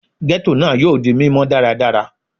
Ghetto naa yoo di mimọ daradara